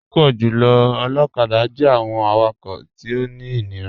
Púpọ̀ jùlọ̀ olokada jẹ̀ àwọn àwàkọ̀ tí ó ní inírà.